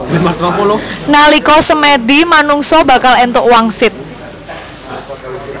Nalika semèdi manungsa bakal èntuk wangsit